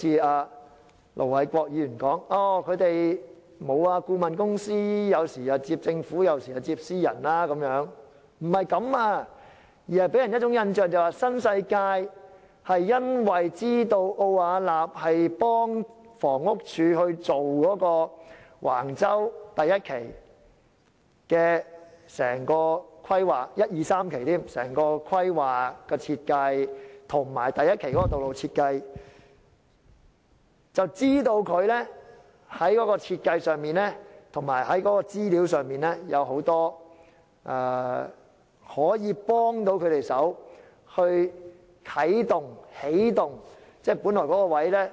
這並非如盧偉國議員所說，顧問公司有時接政府項目，有時接私人項目，並不是這樣，而此事予人的印象就是新世界因為知道奧雅納協助房屋署進行橫洲第1至3期的規劃、設計及第1期的道路設計，便知道該公司在設計上及資料上可以協助他們起動其發展項目。